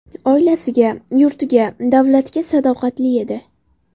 Oilasiga, yurtiga, davlatga sadoqatli edi.